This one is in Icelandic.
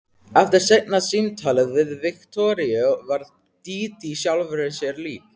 Eftir seinna símtalið við Viktoríu varð Dídí sjálfri sér lík.